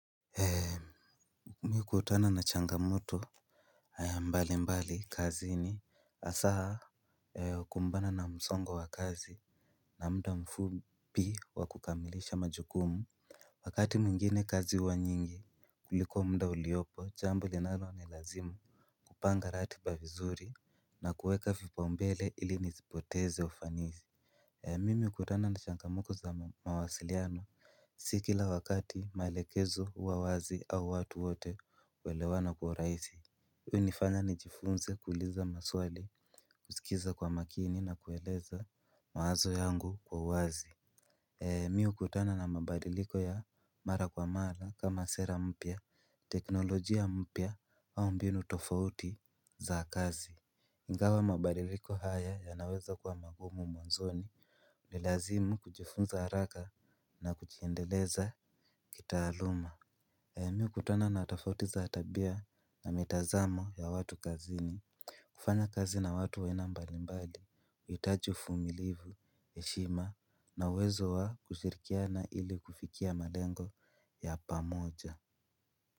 Mimi hukutana na changamoto mbali mbali kazi ni hasa kumbana na msongo wa kazi na muda mfupi wa kukamilisha majukumu. Wakati mwingine kazi huwa nyingi kuliko muda uliopo jambo linalo nilazima. Kupanga ratiba vizuri na kuweka vipau mbele ili nisipoteze ufanisi. Mimi hukutana na changamuko za mawasiliano. Si kila wakati maelekezo huwa wazi au watu wote kuelewana kuwa urahisi hunifanya ni jifunze kuuliza maswali kusikiza kwa makini na kueleza mawazo yangu kwa wazi. Mimi hukutana na mabadiliko ya mara kwa mara kama sera mpya, teknolojia mpya au mbinu tofauti za kazi. Ingawa mabadiliko haya yanaweza kwa magumu mwanzoni unilazimu kujifunza haraka na kujiendeleza kitaaluma mimi hukutana na tofauti za kitabia na mitazamo ya watu kazini. Kufanya kazi na watu wa aina mbalimbali huhitaji uvumilivu heshima na uwezo wa kushirikiana ili kufikia malengo ya pamoja.